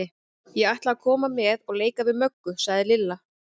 Ég ætla að koma með og leika við Möggu, sagði Lilla.